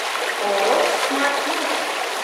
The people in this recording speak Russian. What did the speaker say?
ооо смарт моторс